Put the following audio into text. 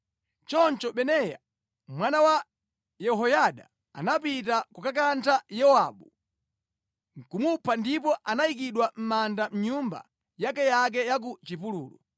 Choncho Benaya mwana wa Yehoyada anapita kukakantha Yowabu nʼkumupha ndipo anayikidwa mʼmanda mʼnyumba yakeyake ya ku chipululu.